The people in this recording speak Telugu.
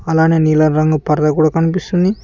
అలానే నీలం రంగు పరద కూడా కనిపిస్తుంది.